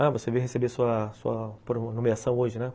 Ah, você veio receber sua sua nomeação hoje, né?